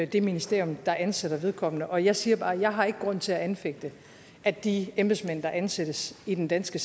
det ministerium der ansætter vedkommende og jeg siger bare at jeg ikke har grund til at anfægte at de embedsmænd der ansættes i den danske